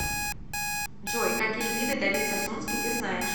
джой какие виды давид сасунский ты знаешь